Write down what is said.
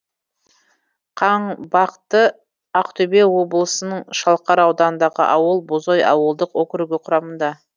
қаңбақты ақтөбе облысының шалқар ауданындағы ауыл бозой ауылдық округі құрамында